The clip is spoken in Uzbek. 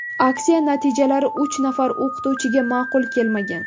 Aksiya natijalari uch nafar o‘qituvchiga ma’qul kelmagan.